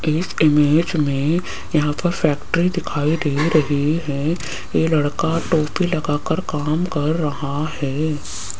एक इमेज में यहां पर फैक्ट्री दिखाई दे रही है ये लड़का टोपी लगाकर काम कर रहा है।